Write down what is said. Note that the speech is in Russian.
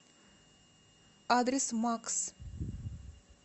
адрес макс